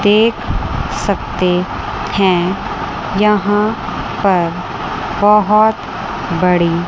देख सकते हैं यहां पर बहोत बड़ी--